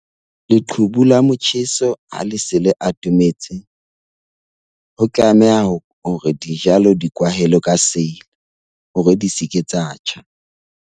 Leqhubu la motjheso ha le se le atometse ho tlameha hore dijalo di kwahelwe ka seili hore di se ke tsa tjha.